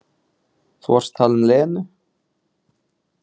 Þú varst að tala um Lenu.